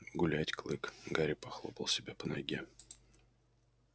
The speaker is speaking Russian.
гулять клык гарри похлопал себя по ноге